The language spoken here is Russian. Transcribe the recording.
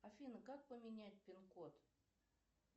афина как поменять пин код